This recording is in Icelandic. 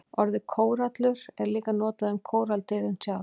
Orðið kórallur er líka notað um kóralladýrin sjálf.